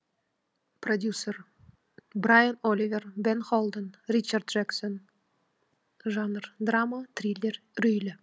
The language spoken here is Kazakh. продюсер брайан оливер бен холден ричард джексон жанр драма триллер үрейлі